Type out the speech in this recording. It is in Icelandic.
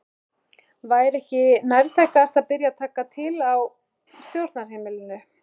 Væri ekki nærtækast að byrja að taka til á stjórnarheimilinu?